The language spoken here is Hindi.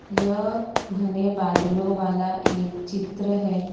यह घने बादलों वाला एक चित्र है।